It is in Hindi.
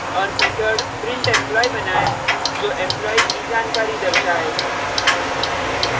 और method printemployee बनाएँ जो employee जानकारी दर्शाए